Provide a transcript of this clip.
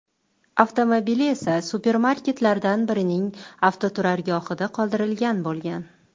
Avtomobili esa supermarketlardan birining avtoturargohida qoldirilgan bo‘lgan.